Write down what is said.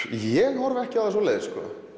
ég horfi ekki á það svoleiðis